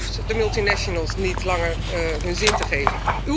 U hoeft de multinationals niet langer hun zin te geven.